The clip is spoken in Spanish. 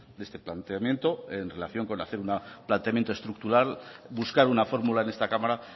de este planteamiento en relación con hacer un planteamiento estructural buscar una fórmula en esta cámara